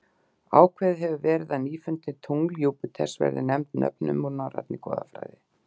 Ákveðið hefur verið að nýfundin tungl Júpíters verði nefnd nöfnum úr norrænni goðafræði.